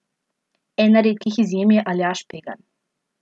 Ena redkih izjem je Aljaž Pegan.